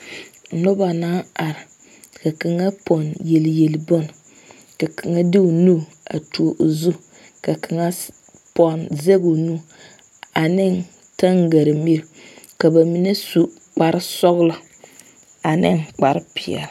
Noba naŋ are ka kaŋa pɔnne yeli yeli bon ,ka kaŋa de o nu a tuo o zu a kaŋa pɔnne zaŋ o nu ane tangra mire ka ba mine su kparre sɔglo ane kparre peɛle.